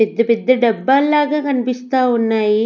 పెద్ద పెద్ద డబ్బాల్లాగా కనిపిస్తా ఉన్నాయి.